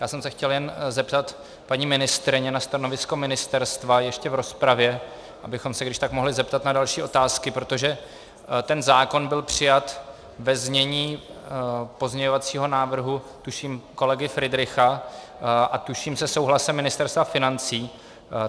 Já jsem se chtěl jen zeptat paní ministryně na stanovisko ministerstva ještě v rozpravě, abychom se když tak mohli zeptat na další otázky, protože ten zákon byl přijat ve znění pozměňovacího návrhu tuším kolegy Fridricha a tuším se souhlasem Ministerstva financí.